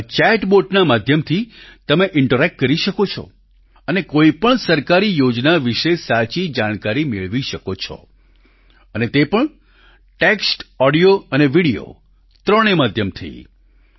તેમાં ચેટ બોટના માધ્યમથી તમે ઈન્ટરેક્ટ કરી શકો છો અને કોઈપણ સરકારી યોજના વિશે સાચી જાણકારી મેળવી શકો છો અને તે પણ ટેક્સ્ટ ઓડિયો અને વીડિયો ત્રણેય માધ્યમથી